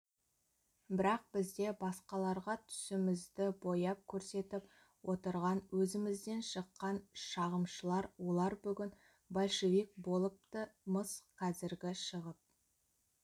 бірақ бізде басқаларға түсімізді бояп көрсетіп отырган өзімізден шыққан шағымшылар олар бүгін большевик болыпты-мыс қазіргі шығып